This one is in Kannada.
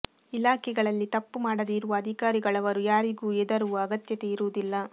ಇಲಾಖೆಗಳಲ್ಲಿ ತಪ್ಪು ಮಾಡದೆ ಇರುವ ಅಧಿಕಾರಿಗಳವರು ಯಾರಿಗೂ ಎದರುವ ಅಗತ್ಯತೆ ಇರುವುದಿಲ್ಲ